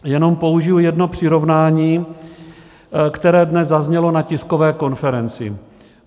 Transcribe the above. Jenom použiji jedno přirovnání, které dnes zaznělo na tiskové konferenci.